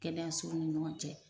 Kɛnɛyasow ni ɲɔgɔn cɛ